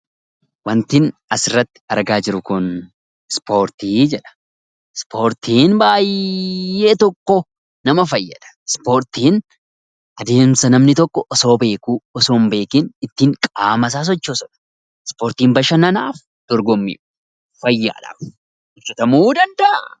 Waantin asirratti argaa jiru kun ispoortii jedha. Ispoortiin baay'ee tokko nama fayyada. Ispoortiin adeemsa namni tokko osoo beekuu, osoo hin beekiin ittiin qaamasaa sochoosatu, ispoortiin bashannanaaf, dorgommiif, fayyaadhaadhaaf hojjetamuu danda'a.